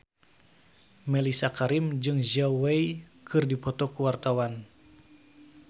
Mellisa Karim jeung Zhao Wei keur dipoto ku wartawan